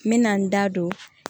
N bɛ na n da don